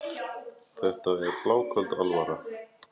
Þetta er bláköld alvara.